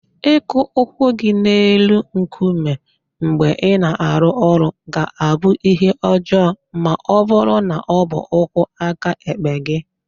Ịkụ ụkwụ gị n'elu nkume mgbe ị na-arụ ọrụ ga-abụ ihe ọjọọ ma ọ bụrụ na ọ bụ ụkwụ aka ekpe gị.